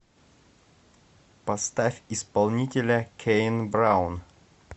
поставь исполнителя кэйн браун